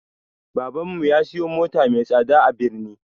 Baban mu ya siya mota mai tsada a birni